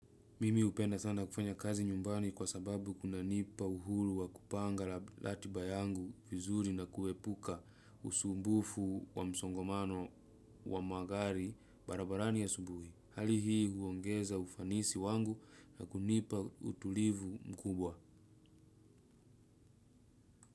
Mimi hupenda sana kufanya kazi nyumbani kwa sababu kunanipa uhuru wa kupanga ratiba yangu vizuri na kuepuka usumbufu wa msongomano wa magari barabarani asubuhi. Hali hii huongeza ufanisi wangu, na kunipa utulivu mkubwa.